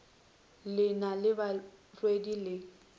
le na le barwedi le